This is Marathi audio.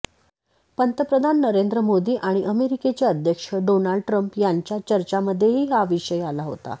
पंतप्रधान नरेंद्र मोदी आणि अमेरिकेचे अध्यक्ष डोनाल्ड ट्रम्प यांच्या चर्चांमध्येही हा विषय आला होता